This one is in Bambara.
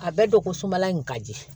A bɛɛ don ko sumala in ka di